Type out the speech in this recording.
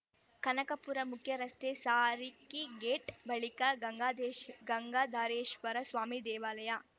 ಕನಕಪುರ ಮುಖ್ಯರಸ್ತೆಯ Sarakki gate ಬಳಿಕ ಗಂಗಾಧೇಶ್ ಗಂಗಾಧಾರೇಶ್ವರ ಸ್ವಾಮಿ ದೇವಾಲಯ